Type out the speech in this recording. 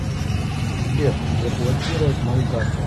сбер заблокировать мою карту